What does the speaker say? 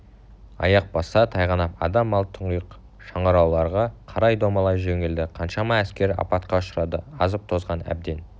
аяқ басса тайғанап адам мал тұңғиық шыңырауларға қарай домалай жөнелді қаншама әскер апатқа ұшырады азып-тозған әбден